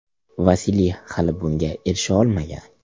Vasiliy hali bunga erisha olmagan.